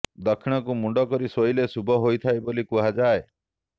ଦକ୍ଷିଣକୁ ମୁଣ୍ଡ କରି ଶୋଇଲେ ଶୁଭ ହୋଇଥାଏ ବୋଲି କୁହାଯାଏ